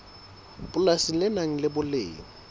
polasi le nang le boleng